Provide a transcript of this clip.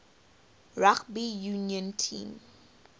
rugby union team